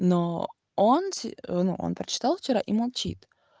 но он ну он прочитал вчера и молчит